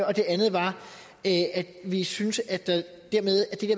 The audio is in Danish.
og det andet er at vi synes at